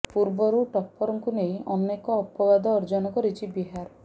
ପୂର୍ବରୁ ଟପ୍ପରଙ୍କୁ ନେଇ ଅନେକ ଅପବାଦ ଅର୍ଜନ କରିଛି ବିହାର